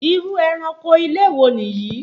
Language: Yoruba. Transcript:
Irú eranko ilé wo Nìyí?